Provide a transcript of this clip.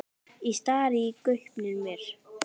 Ég stari í gaupnir mér.